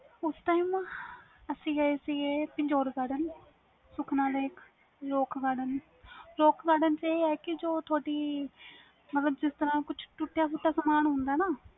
ਉਸ time ਅਸੀਂ ਗਏ ਸੀ rajouri garden, sukhna lake, rock garden, roke garden ਚ ਇਹ ਆ ਕਿ ਜੋ ਤੁਹਾਡੀ ਮਤਬਲ ਜਿਸ ਤਰਾਂ ਕੁਛ ਟੁਟਿਆ ਸਾਮਾਨ ਹੁੰਦਾ ਨਾ